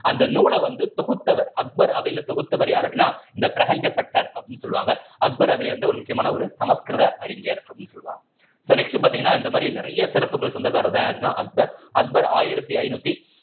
அந்த நூலை வந்து தொகுத்தவர் அக்பர் அவையில தொகுத்தவர் யாரு அப்படின்னா இந்த பிரஹஞ்சபட்டர் அப்படின்னு சொல்லுவாங்க அக்பர் அவிழ்ந்த ஒரு முக்கியமான ஒரு சமஸ்கிருத அறிஞர் அப்படின்னு சொல்லுவாங்க so next பாத்தீங்கன்னா இந்த மாதிரி நிறைய சிறப்புக்கு சொந்தக்காரர்தான் யாருன்னா அக்பர் அக்பர் ஆயிரத்தி ஐநூத்தி